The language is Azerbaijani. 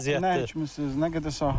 Siz nəyə əkinçisiz? Nə qədər sahəniz?